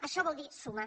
això vol dir sumar